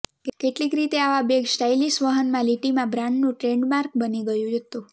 કેટલીક રીતે આવા બેગ સ્ટાઇલિશ વહનના લીટીમાં બ્રાન્ડનું ટ્રેડમાર્ક બની ગયું હતું